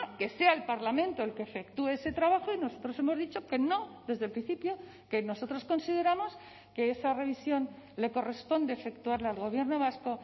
que sea el parlamento el que efectúe ese trabajo y nosotros hemos dicho que no desde el principio que nosotros consideramos que esa revisión le corresponde efectuarla al gobierno vasco